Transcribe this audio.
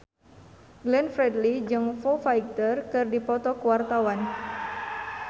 Glenn Fredly jeung Foo Fighter keur dipoto ku wartawan